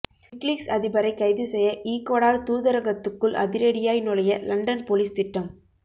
WikiLeaks அதிபரை கைது செய்ய ஈக்வடார் தூதரகத்துக்குள் அதிரடியாய் நுழைய லண்டன் போலீஸ் திட்டம்